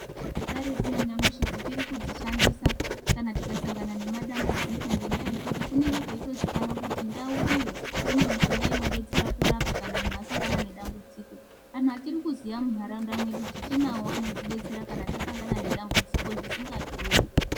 Mutombo dzekaretu nanyamushi tichiri kudzishandisabkana tikasangana nematambudziko ngendaa yekuti kunenge kweitozikanwa kuti ndau iyo ine mishonga inodetsera kurapa kana muntu asangana nedambudziko, antu achiri kuziya muntaraunda mwedu tichinawo anotidetsera kana tasangana nedambudziko zvisingadhuri.